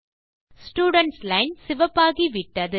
students line சிவப்பாகி விட்டது